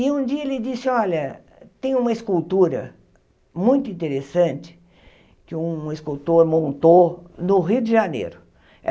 E um dia ele disse, olha, tem uma escultura muito interessante que um escultor montou no Rio de Janeiro.